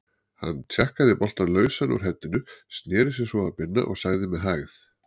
Hann tjakkaði boltann lausan úr heddinu, sneri sér svo að Binna og sagði með hægð